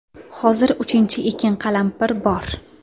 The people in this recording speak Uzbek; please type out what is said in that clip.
Hozir uchinchi ekin qalampir bor.